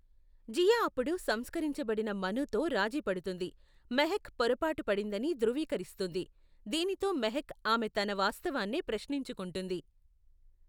జియా అప్పుడు సంస్కరించబడిన మనుతో రాజీ పడుతుంది, మెహక్ పొరపాటు పడిందని ధృవీకరిస్తుంది, దీనితో మెహక్ ఆమె తన వాస్తవాన్నే ప్రశ్నించుకుంటుంది.